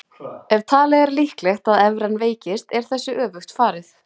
Ef talið er líklegt að evran veikist er þessu öfugt farið.